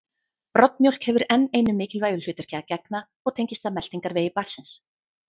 Broddmjólk hefur enn einu mikilvægu hlutverki að gegna og tengist það meltingarvegi barnsins.